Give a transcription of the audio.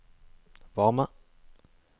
varme